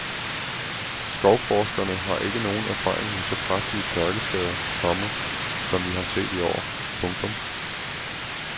Skovforskerne har ikke nogen erfaring med så kraftige tørkeskader, komma som vi har set i år. punktum